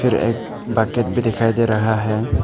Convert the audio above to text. फिर एक बाकेट भी दिखाई दे रहा है।